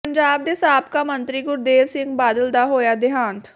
ਪੰਜਾਬ ਦੇ ਸਾਬਕਾ ਮੰਤਰੀ ਗੁਰਦੇਵ ਸਿੰਘ ਬਾਦਲ ਦਾ ਹੋਇਆ ਦੇਹਾਂਤ